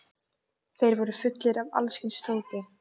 Þeir voru fullir af alls kyns dóti.